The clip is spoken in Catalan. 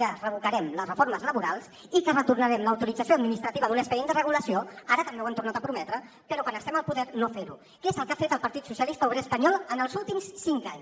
que revocarem les reformes laborals i que retornarem l’autorització administrativa d’un expedient de regulació ara també ho han tornat a prometre però quan estem al poder no fer ho que és el que ha fet el partit socialista obrer espanyol en els últims cinc anys